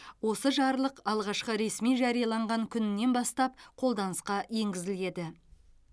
осы жарлық алғашқы ресми жарияланған күнінен бастап қолданысқа енгізіледі